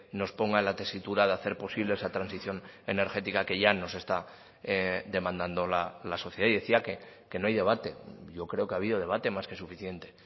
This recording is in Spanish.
nos ponga en la tesitura de hacer posible esa transición energética que ya nos está demandando la sociedad y decía que no hay debate yo creo que ha habido debate más que suficiente